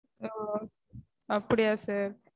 ஓ அப்படியா